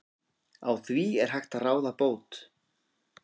Á því er hægt að ráða bót.